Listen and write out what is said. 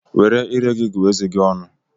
Were iré gị gụọ eze gị ọnụ.